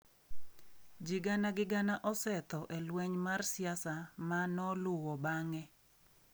Ji gana gi gana osetho e lweny mar siasa ma noluwo bang’e.